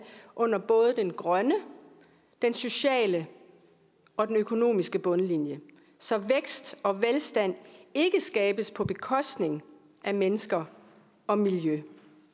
under både den grønne den sociale og den økonomiske bundlinje så vækst og velstand ikke skabes på bekostning af mennesker og miljø